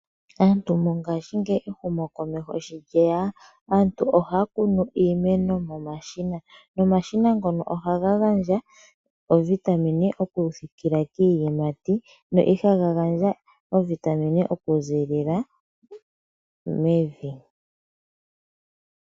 Aantu mongaashingeyi ehumo komeho sho lyeya aantu ohaya kunu iimeno momashina. Omashina ngono ohaga gandja iitungithi okupitila kiiyimati ihe ihaga gandja iitungithi okuziilila mevi.